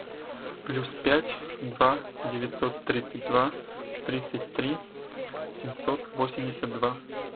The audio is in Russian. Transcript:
плюс пять два девятьсот тридцать два тридцать три семьсот восемьдесят два